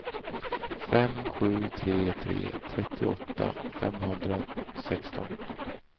fem sju tre tre trettioåtta femhundrasexton